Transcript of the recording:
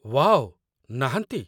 Wow, ନାହାନ୍ତି?